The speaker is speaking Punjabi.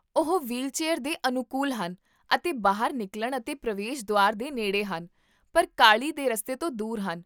ਉਹ ਵ੍ਹੀਲਚੇਅਰ ਦੇ ਅਨੁਕੂਲ ਹਨ ਅਤੇ ਬਾਹਰ ਨਿਕਲਣ ਅਤੇ ਪ੍ਰਵੇਸ਼ ਦੁਆਰ ਦੇ ਨੇੜੇ ਹਨ, ਪਰ ਕਾਹਲੀ ਦੇ ਰਸਤੇ ਤੋਂ ਦੂਰ ਹਨ